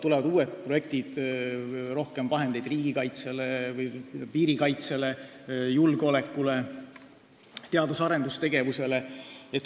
Tulevad uued projektid, rohkem läheb vahendeid riigikaitsele või piiride kaitsele, julgeolekule, teadus- ja arendustegevusele.